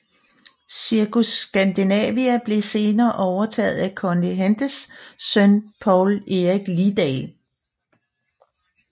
Cirkus Scandinavia blev senere overtaget at Conny Hendes søn Poul Erik Lidal